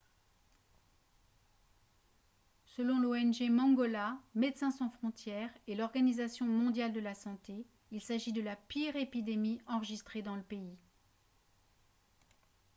selon l'ong mangola médecins sans frontières et l'organisation mondiale de la santé il s'agit de la pire épidémie enregistrée dans le pays